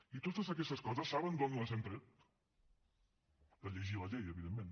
i totes aquestes coses saben d’on les hem tret de llegir la llei evidentment